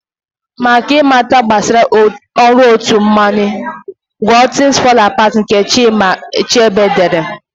Maka ị mata gbasara ọrụ otu mmanwụ, gụọ 'things fall apart' nke Chinụa Achebe dere.